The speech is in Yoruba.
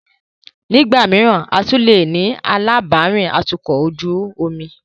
Nígbà mìíràn, a tún leè ní alábàárìn atukọ̀ ojú omi.